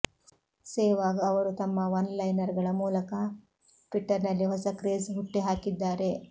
ಸೆಹ್ವಾಗ್ ಅವರು ತಮ್ಮ one liner ಗಳ ಮೂಲಕ ಟ್ವಿಟ್ಟರ್ ನಲ್ಲಿ ಹೊಸ ಕ್ರೇಜ್ ಹುಟ್ಟಿಹಾಕಿದ್ದಾರೆ